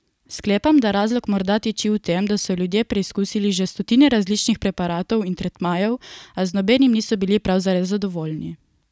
Sklepam, da razlog morda tiči v tem, da so ljudje preizkusili že stotine različnih preparatov in tretmajev, a z nobenim niso bili prav zares zadovoljni.